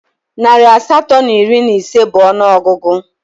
Narị asatọ na iri na ise bụ ọnụọgụgụ